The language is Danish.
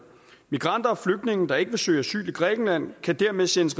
migranter og flygtninge der ikke vil søge asyl i grækenland kan dermed sendes